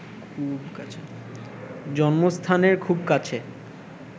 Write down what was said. জন্মস্থানের খুব কাছে